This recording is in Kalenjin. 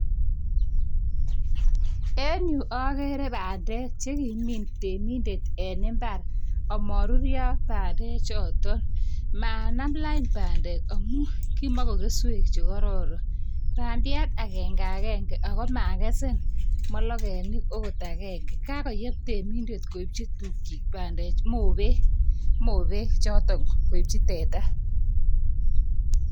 Enyu agere pandek chekimin temindet en imbar, amaruryo pandechotok. Manam lain pandek amu kima kokeswek chekororon. Pandiat agenge agenge ako magesen mologenik ako agenge. Kakoyep temindet koipchi tukchi pandechu mobek chotok koipchi teta.